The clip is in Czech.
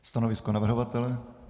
Stanovisko navrhovatele?